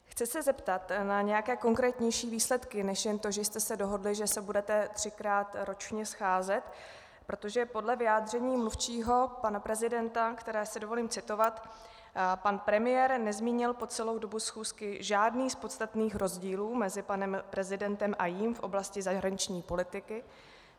Chci se zeptat na nějaké konkrétnější výsledky než jen to, že jste se dohodli, že se budete třikrát ročně scházet, protože podle vyjádření mluvčího pana prezidenta - které si dovolím citovat: Pan premiér nezmínil po celou dobu schůzky žádný z podstatných rozdílů mezi panem prezidentem a jím v oblasti zahraniční politiky.